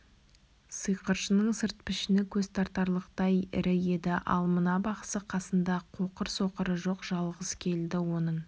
сиқыршының сырт пішіні көз тартарлықтай ірі еді ал мына бақсы қасында қоқыр-соқыры жоқ жалғыз келді оның